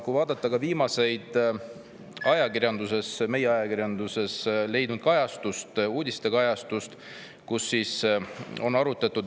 Kui vaadata ka viimast meie ajakirjanduse uudistekajastust, siis seal on arutatud.